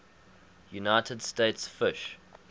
united states fish